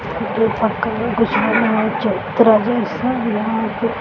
चबूतरा जैसा यहाँ पे।